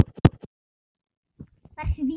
Hversu víður?